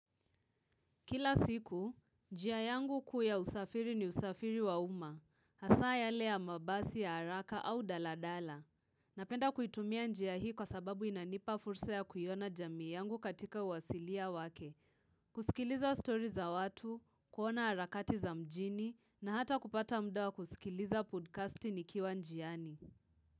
Kila siku, njia yangu kuu ya usafiri ni usafiri wa uma, hasaa yale ya mabasi ya haraka au daladala. Napenda kuitumia njia hii kwa sababu inanipa fursa ya kuiona jamii yangu katika uwasilia wake, kusikiliza story za watu, kuona harakati za mjini, na hata kupata muda wa kusikiliza podcasti nikiwa njiani.